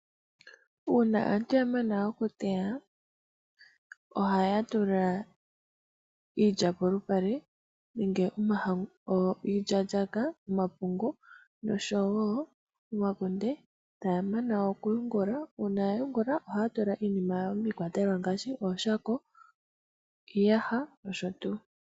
Uuna aantu yamana oku teya, ohaya tula iilya nenge omahangu polupale niilyaalyaaka osho woo omakunde taya mana oku ga yungula. Uuna ya yungula ohaya tula iinima yawo miikwatelwa ngaashi ooshako, iiyaha nayilwe.